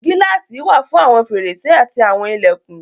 Gíláàsì wà fún àwọn fèrèsé àti àwọn ilẹ̀kùn.